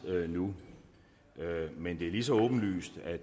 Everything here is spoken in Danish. nu men det er lige så åbenlyst at